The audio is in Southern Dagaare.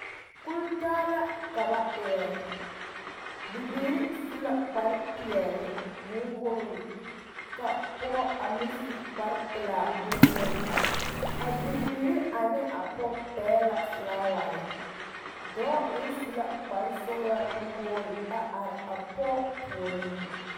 Kultaa la ka ba erɛ bibiiri su la kpar peɛle bonwoori ka pɔge a meŋ su kpar pelaa bonwogi a bibiiri ane a pɔge pɛgele la felaaware dɔɔ meŋ su la kpar sɔgelaa nuwoori are a pɔge puoriŋ